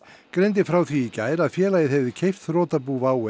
greindi frá því í gær að félagið hefði keypt þrotabú WOW